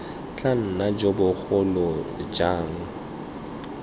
tla nna jo bogolo jang